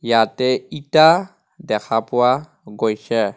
ইয়াতে ইটা দেখা পোৱা গৈছে.